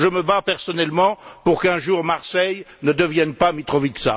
Je me bats personnellement pour qu'un jour Marseille ne devienne pas Mitrovica.